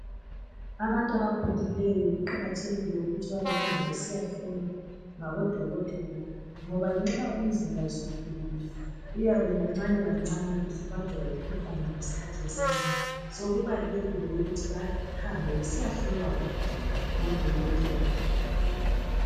Abantabakhulileyo kuqakathekile ukuthi babebehamba besiyahlolwa ngabodokotela. Ngoba nxa imzimba isikhulile iyabekancane kancane isibanjwa yimkhuhlane ngeskhathi esincane. So kubalulekile ukuthi bahambe besiyahlolwa ng ngodokotela.